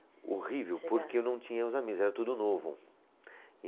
Horrível, porque eu não tinha os amigos, era tudo novo.